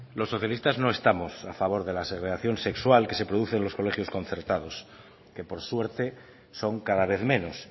los socialistas no estamos a favor de la segregación sexual que se produce en los colegios concertados que por suerte son cada vez menos